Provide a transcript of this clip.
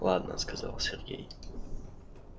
ладно сказал сергей